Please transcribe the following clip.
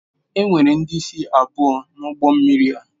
Enwere ndị isi abụọ na ụgbọ mmiri a